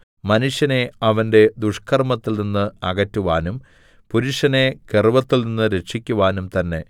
മനുഷ്യനെ അവന്റെ ദുഷ്കർമ്മത്തിൽനിന്ന് അകറ്റുവാനും പുരുഷനെ ഗർവ്വത്തിൽനിന്ന് രക്ഷിക്കുവാനും തന്നെ